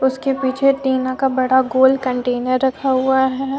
उसके पीछे टीना का बड़ा गोल कंटेनर रखा हुआ है।